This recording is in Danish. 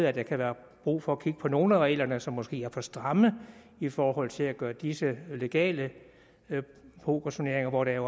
at der kan være brug for at kigge på nogle af reglerne som måske er for stramme i forhold til at gøre disse legale pokerturneringer hvor der